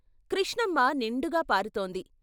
కృష్ణమ్మ నిండుగా పారుతోంది.